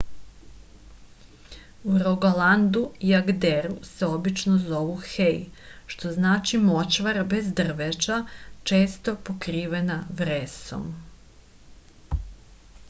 u rogalandu i agderu se obično zovu hei što znači močvara bez drveća često pokrivena vresom